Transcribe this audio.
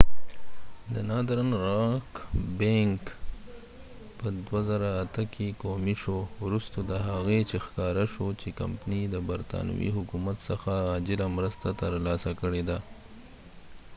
د ناردرن راک بینک northern rock bank په 2008 کې قومی شو وروسته د هغې چې ښکاره شوه چې کمپنی د برطانوي حکومت څخه عاجله مرسته تر لاسه کړي ده